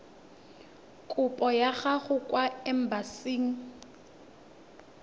kopo ya gago kwa embasing